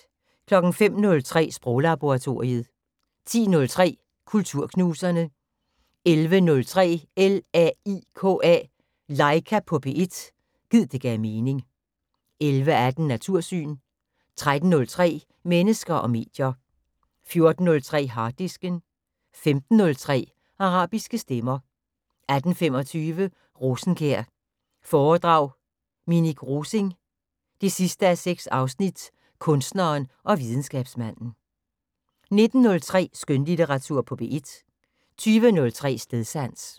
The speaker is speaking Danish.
05:03: Sproglaboratoriet 10:03: Kulturknuserne 11:03: LAIKA på P1 – gid det gav mening 11:18: Natursyn 13:03: Mennesker og medier 14:03: Harddisken 15:03: Arabiske stemmer 18:25: Rosenkjær foredrag Minik Rosing 6:6 Kunstneren og videnskabsmanden 19:03: Skønlitteratur på P1 20:03: Stedsans